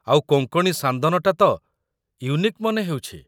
ଆଉ କୋଙ୍କଣୀ ସାନ୍ଦନଟା ତ ୟୁନିକ୍ ମନେ ହେଉଛି ।